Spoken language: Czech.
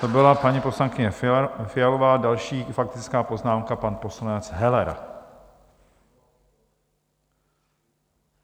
To byla paní poslankyně Fialová, další faktická poznámka, pan poslanec Heller.